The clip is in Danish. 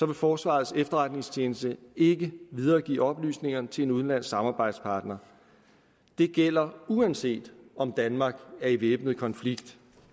vil forsvarets efterretningstjeneste ikke videregive oplysningerne til en udenlandsk samarbejdspartner det gælder uanset om danmark er i væbnet konflikt